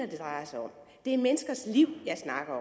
det drejer sig om det er menneskers liv jeg snakker